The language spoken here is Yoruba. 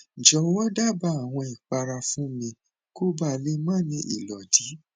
jowo daba awon ipara fun mi koba le ma ni ilodi